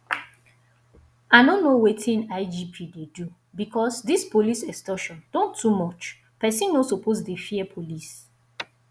i no know wetin igp dey do because dis police extortion don too much person no suppose dey fear police